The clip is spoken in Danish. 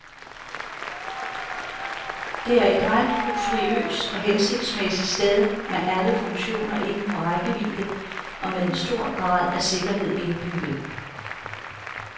Det er et ret luksuriøs og hensigtsmæssig sted med alle funktioner inden for rækkevidde og med en stor grad af sikkerhed indbygget.